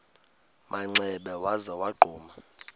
manxeba waza wagquma